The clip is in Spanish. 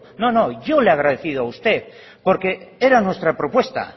no no yo le he agradecido a usted porque era nuestra propuesta